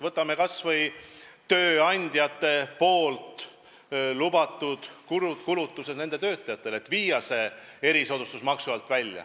Võtame kas või tööandjate kulutused töötajatele, soov vabastada need erisoodustusmaksust.